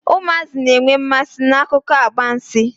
Ụmụazị na-enwe mmasi n'akụkọ agbansi.